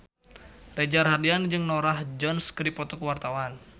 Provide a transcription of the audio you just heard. Reza Rahardian jeung Norah Jones keur dipoto ku wartawan